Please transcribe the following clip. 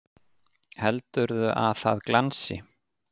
Heldurðu að það glansi!